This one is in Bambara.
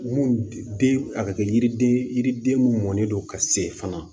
Mun den a bɛ kɛ yiriden yiriden mun mɔnen don ka se fana